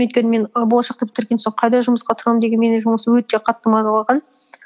өйткені мен і болашақ ты бітірген соң қайда жұмысқа тұрамын деген мені жұмыс өте қатты мазалаған